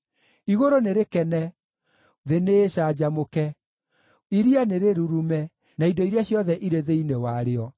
Igũrũ nĩrĩkene, thĩ nĩĩcanjamũke; iria nĩrĩrurume, na indo iria ciothe irĩ thĩinĩ warĩo;